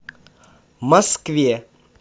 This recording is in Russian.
москве